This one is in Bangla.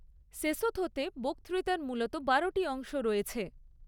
সেসোথোতে বক্তৃতার মূলত বারোটি অংশ রয়েছে।